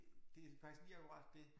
Det faktisk lige akkurat det